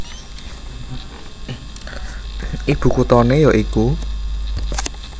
Ibu kuthané ya iku